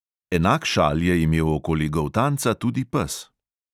Enak šal je imel okoli goltanca tudi pes.